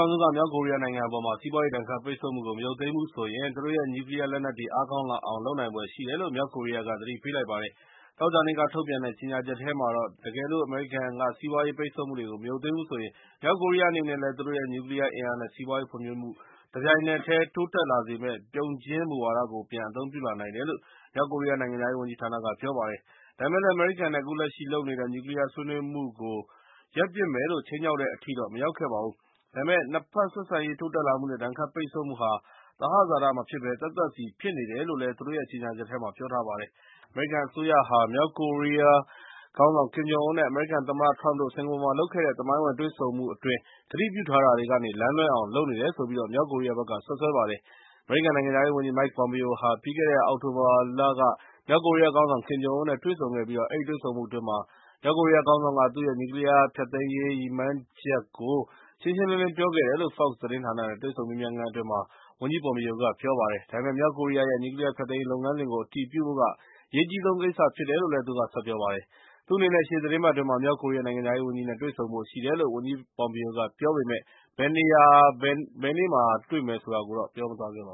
ောင်စုက မြောက်ကိုရီးယားနိုင်ငံအပေါ် စီးပွားရေးဒဏ်ခတ်ပိတ်ဆို့မှုကို မရုတ်သိမ်းဘူးဆိုလျှင်၊ သူတို့ရဲ့ နျူးကလီးယား လက်နက်တွေ အားကောင်းလာအောင်လုပ်နိုင်ဖွယ်ရှိတယ်လို့ မြောက်ကိုရီးယားက သတိပေးလိုက်ပါတယ်။ သောကြာနေ့က ထုတ်ပြန်တဲ့ ကြေငြာချက်ထဲမှာတော့ ၊ တကယ်လို့ အမေရိကန်က စီးပွားရေးပိတ်ဆို့မှုတွေကို မရုတ်သိမ်းဘူးဆိုလျှင်၊ မြောက်ကိုရီးယားအနေနဲ့လည်း သူတို့ရဲ့ နျူးကလီးယားအင်အား နဲ့ စီးပွားရေးဖွံ့ဖြိုးမှု တပြိုင်နက်တည်းတိုးတက်လာစေမယ့် ပြုံဂျင်းမူဝါဒကို ပြန်အသုံးပြုလာနိုင်တယ်လို့ မြောက်ကိုရီးယားနိုင်ငံခြားရေးဝန်ကြီးဌာက ပြောပါတယ်။ ဒါပေမဲ့လည်း အမေရိကန်နဲ့ အခုလက်ရှိလုပ်နေတဲ့ နျူးကလီးယားဆွေးနွေးမှုကို ရပ်ပစ်မယ်လို့ ခြိမ်းခြောက်တဲ့အထိတော့မရောက်ခဲ့ပါဘူး။ ဒါပေမဲ့လည်း ၂ ဘက်ဆက်ဆံရေး တိုးတက်လာမှုနဲ့ ဒဏ်ခတ်ပိတ်ဆို့မှုဟာ သဟဇာတမဖြစ်ဘဲ သက်သက်စီဖြစ်နေတယ်လို့ သူတို့ရဲ့ကြေငြာချက်ထဲမှာ ပြောထားပါတယ်။ အမေရိကန်အစိုးရဟာ မြောက်ကိုရီးယား ခေါင်းဆောင် ကင်ဂျုံအွန်း နဲ့ အမေရိကန်သမ္မတထရမ့်တို့ စင်ကာပူမှာ လုပ်ခဲ့တဲ့ သမိုင်းဝင်တွေ့ဆုံမှု အတွင်း ကတိပြုထားတာတွေကနေ လမ်းလွဲအောင်လုပ်နေတယ်လို့ မြောက်ကိုရီးယားဘက်က စွပ်စွဲပါတယ်။ အမေရိကန်နိုင်ငံခြားရေး ဝန်ကြီး Mike Pompeo ဟာ ပြီးခဲ့တဲ့ အောက်တိုဘာလက မြောက်ကိုရီးယားခေါင်းဆောင် ကင်ဂျုံအွန်းနဲ့ တွေ့ဆုံခဲ့ပြီး၊ အဲဒီတွေ့ဆုံမှုအတွင်း မြောက်ကိုရီးယားခေါင်းဆောင်က သူ့ရဲ့ နျူးကလီးယားဖျက်သိမ်းရေးရည်မှန်းချက်ကို ရှင်းရှင်းလင်းလင်း ပြောခဲ့တယ်လို့ Fox သတင်းဌာန နဲ့ တွေ့ဆုံမေးမြန်းခန်းအတွင်း ဝန်ကြီးပွန်ပီယိုက ပြောကြားခဲ့ပါတယ်။ ဒါပေမဲ့ မြောက်ကိုရီးယားရဲ့ နျူးကလီးယားဖျက်သိမ်းရေးလုပ်ငန်းစဉ်ကို အတည်ပြုဖို့က အရေးကြီးဆုံးကိစ္စဖြစ်တယ်လို့လည်း သူကဆက်ပြောပါတယ်။ သူ့အနေနဲ့ ရှေ့သီတင်းပတ်အတွင်း မြောက်ကိုရီးယားနိုင်ငံခြားရေးဝန်ကြီးနဲ့ တွေ့ဆုံဖို့ရှိတယ်လို့ ဝန်ကြီး ပွန်ပီယိုက ပြောပေမဲ့ ဘယ်နေ့ ဘယ်နေရာမှာတွေ့မယ်ဆိုတာကိုတော့ ပြောမသွားခဲ့ပါ